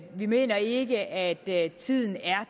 vi mener ikke at tiden er